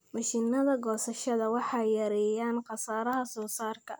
Mashiinnada goosashada waxay yareeyaan khasaaraha soosaarka.